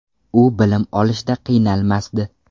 U bilim olishda qiynalmasdi.